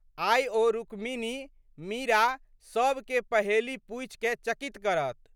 आइ ओ रुक्मिनी, मीरा सबके पहेली पूछिकए चकित करत।